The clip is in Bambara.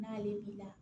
N'ale b'i la